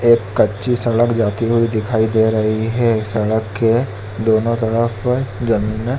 एक कच्ची सड़क जाती हुई दिखाई दे रही है सड़क के दोनों तरफ अ ज़मीन --